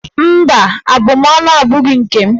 Mba, abụmaọnụ abụghị oke m.